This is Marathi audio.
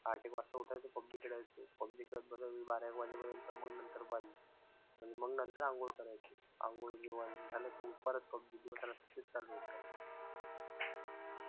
आठ एक वाजा ऊठायचो पबजी खोळायचो, पबजी खेळत बसायचो बारा एक वाजे पर्यंत. मग नंतर बंद. मंग नंतर अंघोळ करायचो. अंघोळ, जेवण झालं की मग परत पबजी दिवसा-रात्री हेच चालू होतं.